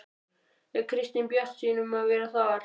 Er Kristín bjartsýn um að vera þar?